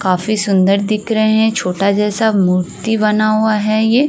काफी सुन्दर दिख रहे हैं। छोटा जैसा मूर्ति बना हुआ है ये।